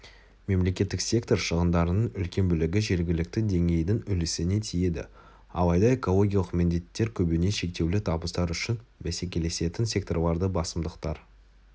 мемлекеттік сектор шығындарының үлкен бөлігі жергілікті деңгейдің үлесіне тиеді алайда экологиялық міндеттер көбіне шектеулі табыстар үшін бәсекелесетін секторалды басымдықтар